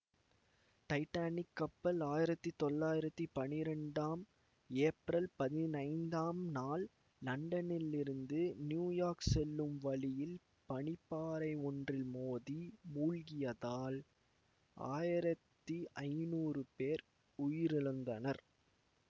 Titanic கப்பல் ஆயிரத்தி தொள்ளாயிரத்தி பனிரெண்டாம் ஏப்ரல் பதினைந்தாம் நாள் லண்டனில் இருந்து நியூயோர்க் செல்லும் வழியில் பனிப்பாறை ஒன்றில் மோதி மூழ்கியதால் ஆயிரத்தி ஐநூறு பேர் உயிரிழந்தனர்